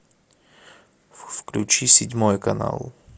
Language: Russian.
включи седьмой канал